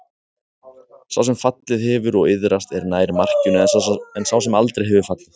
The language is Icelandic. Sá sem fallið hefur og iðrast er nær markinu en sá sem aldrei hefur fallið.